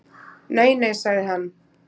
"""Nei nei, sagði hann."""